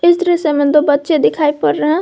इस दृश्य में दो बच्चे दिखाई पड़ रहे।